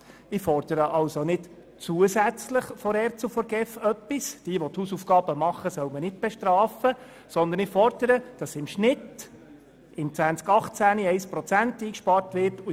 Ich fordere somit nicht zusätzlich etwas von der ERZ und der GEF, sondern ich will, dass im Jahr 2018 sowie in den Folgejahren im Schnitt 1 Prozent eingespart wird.